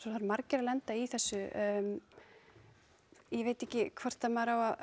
það eru margir að lenda í þessu ég veit ekki hreinlega hvort að maður á